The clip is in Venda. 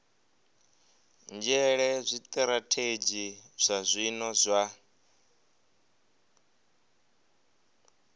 nzhele zwitirathedzhi zwa zwino zwa